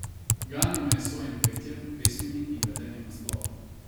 Ganil me je s svojim petjem, pesmimi in vedenjem nasploh.